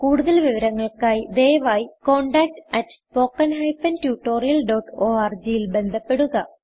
കുടുതൽ വിവരങ്ങൾക്കായി ദയവായി contactspoken tutorialorg ൽ ബന്ധപ്പെടുക